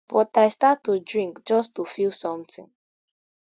but i start to drink just to feel sometin